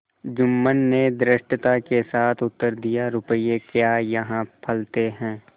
जुम्मन ने धृष्टता के साथ उत्तर दियारुपये क्या यहाँ फलते हैं